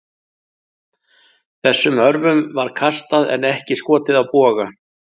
Þessum örvum var kastað en ekki skotið af boga.